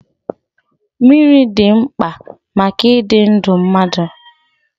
Mmiri dị mkpa maka ịdị ndụ mmadụ.